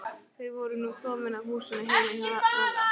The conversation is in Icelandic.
Þeir voru nú komnir að húsinu heima hjá Lalla.